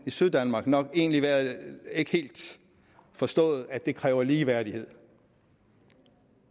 syddanmark nok egentlig ikke helt forstået at det kræver ligeværdighed